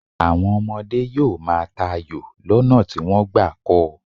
Àwọn ọmọdé yóò máa ta ayò lọ́nà tí wọ́n gbà kọ́ ọ.